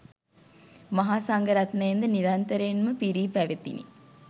මහා සංඝ රත්නයෙන් ද නිරන්තරයෙන් ම පිරී පැවතිණි.